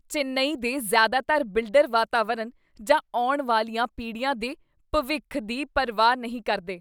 ਚੇਨੱਈ ਦੇ ਜ਼ਿਆਦਾਤਰ ਬਿਲਡਰ ਵਾਤਾਵਰਨ ਜਾਂ ਆਉਣ ਵਾਲੀਆਂ ਪੀੜ੍ਹੀਆਂ ਦੇ ਭਵਿੱਖ ਦੀ ਪਰਵਾਹ ਨਹੀਂ ਕਰਦੇ ।